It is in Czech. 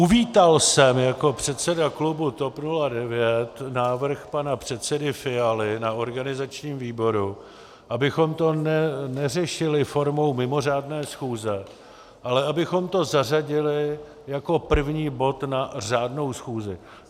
Uvítal jsem jako předseda klubu TOP 09 návrh pana předsedy Fialy na organizačním výboru, abychom to neřešili formou mimořádné schůze, ale abychom to zařadili jako první bod na řádnou schůzi.